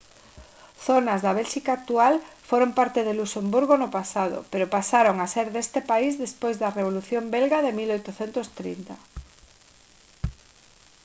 zonas da bélxica actual foron parte de luxemburgo no pasado pero pasaron a ser deste país despois da revolución belga de 1830